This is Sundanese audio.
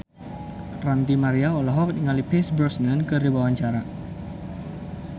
Ranty Maria olohok ningali Pierce Brosnan keur diwawancara